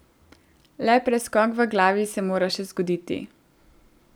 Le preskok v glavi se mora še zgoditi.